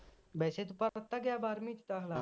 ਵੈਸੇ ਦਿੱਤਾ ਗਿਆ ਬਾਰਵੀ ਵਿਚ ਦਾਖਲਾ